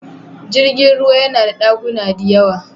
Jirgin ruwa yana da ɗakuna diyawa.